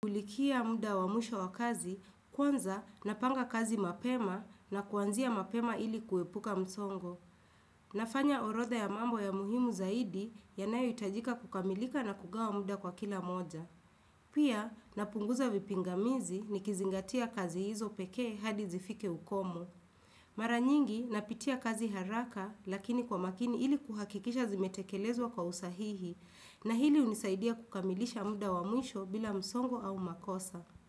Kufikia muda wa mwisho wa kazi, kwanza napanga kazi mapema na kuanzia mapema ili kuepuka msongo. Nafanya orotha ya mambo ya muhimu zaidi yanayoitajika kukamilika na kugawa muda kwa kila moja. Pia napunguza vipingamizi nikizingatia kazi hizo peke hadi zifike ukomo. Mara nyingi napitia kazi haraka lakini kwa makini ili kuhakikisha zimetekelezwa kwa usahihi na hili unisaidia kukamilisha muda wa musho bila msongo au makosa.